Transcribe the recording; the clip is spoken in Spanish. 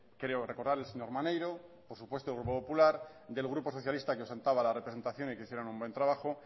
creo recordar del señor maneiro por supuesto grupo popular del grupo socialista que la representación y que hicieron un buen trabajo